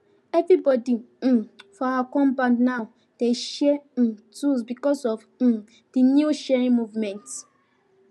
everybody um for our compound now dey share um tools because of um this new sharing movement